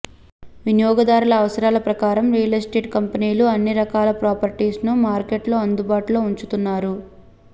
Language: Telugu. వినియోగదారుల అవసరాల ప్రకారం రియల్ ఎస్టేట్ కంపెనీలు అన్ని రకాల ప్రాపర్టీస్ ను మార్కెట్లో అందుబాటులో ఉంచుతున్నారు